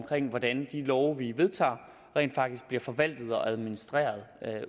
hvordan de love vi har vedtaget rent faktisk bliver forvaltet og administreret